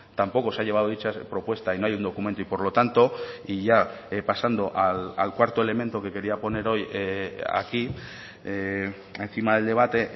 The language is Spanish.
tampoco se ha llevado dicha propuesta y no hay un documento y por lo tanto y ya pasando al cuarto elemento que quería poner hoy aquí encima del debate